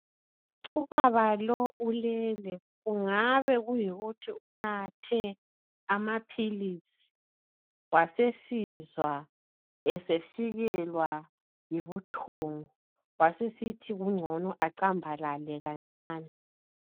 Ubaba lo ulele kungabe kuyikuthi unathe amaphilisi wasesizwa esefikelwa yibuthongo wasesithi kungcono acambalale kancane.